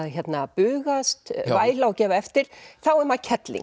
bugast væla og gefa eftir þá er maður kelling